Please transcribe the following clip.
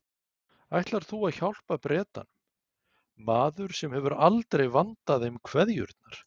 Ætlar þú að hjálpa Bretanum, maður sem hefur aldrei vandað þeim kveðjurnar?